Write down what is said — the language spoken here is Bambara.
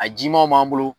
A jimanw b'an bolo